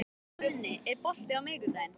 Guðni, er bolti á miðvikudaginn?